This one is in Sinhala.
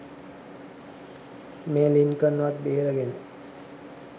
මේ ලින්කන්වත් බේරගෙන